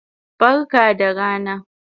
Barka da rana